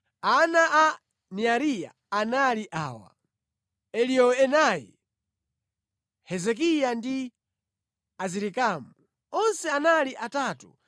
Ana a Neariya anali awa: Eliyoenai, Hezekiya ndi Azirikamu. Onse anali atatu.